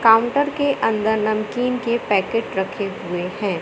Counter के अंदर नमकीन के पैकेट रखे हुए हैं।